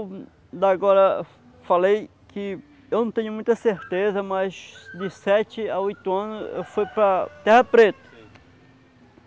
Eu agora falei que eu não tenho muita certeza, mas de sete a oitos anos eu fui para Terra Preta.